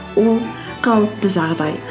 ол қалыпты жағдай